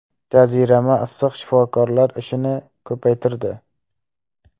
Jazirama issiq shifokorlar ishini ko‘paytirdi.